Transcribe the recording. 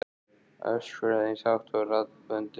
Öskraði eins hátt og raddböndin leyfðu.